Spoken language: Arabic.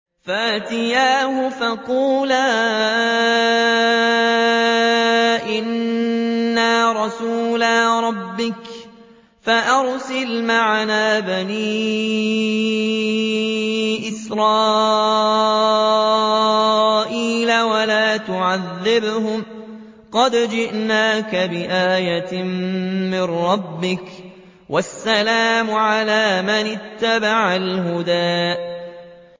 فَأْتِيَاهُ فَقُولَا إِنَّا رَسُولَا رَبِّكَ فَأَرْسِلْ مَعَنَا بَنِي إِسْرَائِيلَ وَلَا تُعَذِّبْهُمْ ۖ قَدْ جِئْنَاكَ بِآيَةٍ مِّن رَّبِّكَ ۖ وَالسَّلَامُ عَلَىٰ مَنِ اتَّبَعَ الْهُدَىٰ